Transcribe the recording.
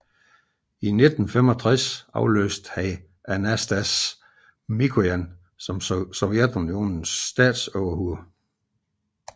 I 1965 afløste han Anastas Mikojan som Sovjetunionens statsoverhoved